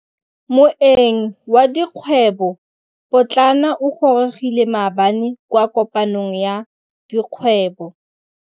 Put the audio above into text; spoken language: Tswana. Moêng wa dikgwêbô pôtlana o gorogile maabane kwa kopanong ya dikgwêbô.